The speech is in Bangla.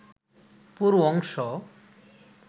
পুরো অংশ